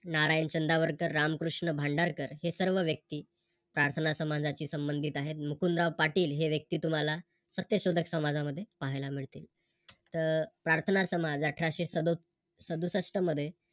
नारायण चंदावरकर, रामकृष्ण भांडारकर हे सर्व व्यक्ती प्रार्थनासमाजाशी संबंधित आहेत. मुकुंदाराव पाटील हे व्यक्ती तुम्हाला सत्यशोधक समाजा मध्ये पाहायला मिळते. तर प्रार्थनासमाज अठराशे सदो सदुसष्ठ मध्ये